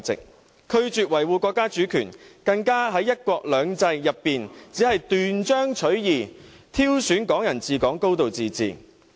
他們拒絕維護國家主權，更在"一國兩制"中，只斷章取義挑選"港人治港"、"高度自治"。